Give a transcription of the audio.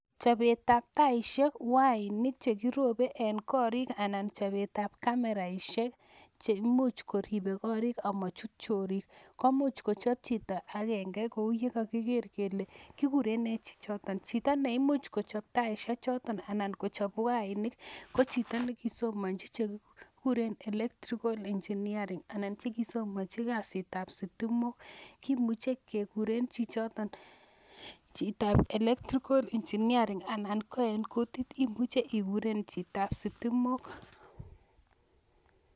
Chobetab taishek wainik chekirobe en korik anan chobetab cameraishek cheimuch koribe korik amachut chorik ko imuch kochop chito akenge kou yekokiker kelee kikuren nee chichoton, chito neimuch kochob taishe choton anan kochop wainik ko chito nekisomonchi chekikuren electrical engineering anan chekisomonji kasitab sitimok, kimuche kekure chichoton chitab electrical engineering anan ko en kutit imuche ikuren chitab sitimok.